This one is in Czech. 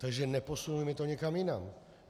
Takže neposunujme to někam jinam.